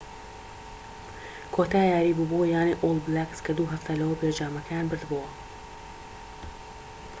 کۆتا یاریی بوو بۆ یانەی ئۆڵ بلاکس کە دوو هەفتە لەوەوپێش جامەکەیان بردبۆوە